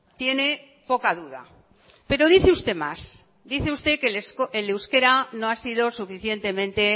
tiene poca duda pero dice usted más dice usted que el euskera no ha sido suficientemente